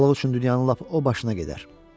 Balıq üçün dünyanın lap o başına gedər.